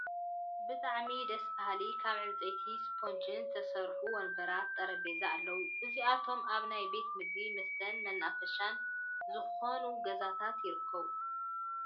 ብጣዕሚ ደስ ባሀልቲ ካብ ዕንፀይትን ስፖንጅን ዝተሰርሑ ወንበራት ጠሬጰዛን ኣለው። እዚኣቶም ኣብ ናይ ቤት ምግብን መስተን መናፈሻን ዝኮኑ ገዛታት ይርከቡ።